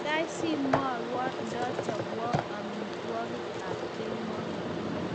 kaikai si mwaiwo ndachobok amituogik ab kemoi